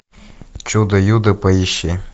чудо юдо поищи